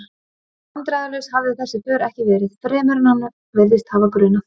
Vandræðalaus hafði þessi för ekki verið, fremur en hann virðist hafa grunað.